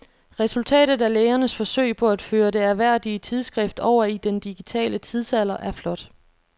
Resultatet af lægernes forsøg på at føre det ærværdige tidsskrift over i den digitale tidsalder er flot.